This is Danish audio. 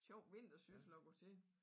Sjov vintersyssel at gå til